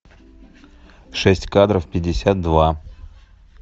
шесть кадров пятьдесят два